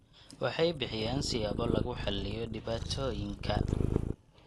Waxay bixiyaan siyaabo lagu xalliyo dhibaatooyinka.